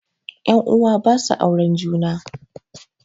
Ƴan uwa basu auren juna